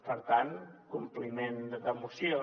per tant compliment de moció